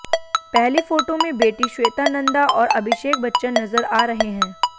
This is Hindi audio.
पहली फोटो में बेटी श्वेता नंदा आैर अभिषेक बच्चन नजर आ रहे हैं